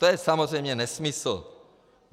To je samozřejmě nesmysl.